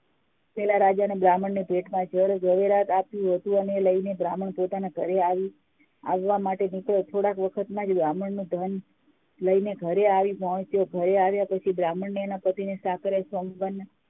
પેલા રાજાને બ્રાહ્મણને ભેટમાં જવેરાત આપી એ લઈને બ્રાહ્મણ પોતાના ઘરે આવવા માટે નીકળો થોડા વખત માંજ બ્રાહ્મણ નું ધન લઇ ને ઘરે આવી પોંચ્યો ઘરે આવી પછી બ્રાહ્મણી એ એના પતિને સકરે સોમવાર ના